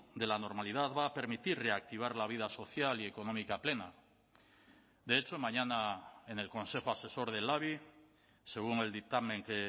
de la normalidad va a permitir reactivar la vida social y económica plena de hecho mañana en el consejo asesor del labi según el dictamen que